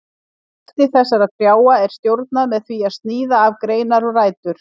Vexti þessara trjáa er stjórnað með því að sníða af greinar og rætur.